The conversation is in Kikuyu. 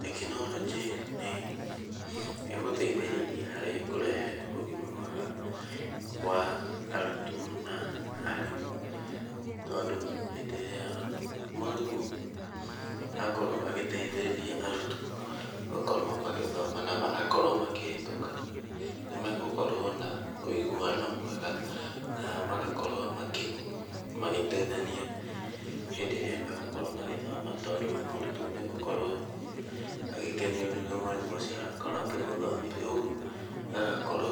Tekinoronjĩ nĩ ĩgũteithĩrĩria harĩ kũrehe ũgima mwega wa arutwo na aarimu. Tondũ hĩndĩ ĩrĩa mwarimũ akorwo agĩteithĩrĩria arutwo gũkorwo magĩthoma na magakorwo makĩhĩtũka, nĩ megũkorwo na ũiguano mwega na magakorwo magĩteithania hĩndĩ ĩrĩa megũkorwo magĩthoma. Tondũ mũrutwo nĩ egũkorwo agĩkenio nĩ ũrĩa mwarimũ ũcio arakorwo akĩmũthomithia. Ũguo agakorwo